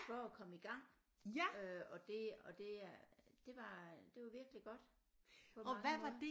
For at komme i gang øh og det og det er det var det var virkelig godt på mange måder